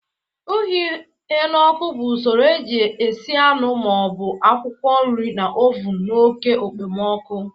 Ihu ihe n'oku bụ usoro eji esi anụ ma ọ bụ akwụkwọ nri na oven na oke okpomọkụ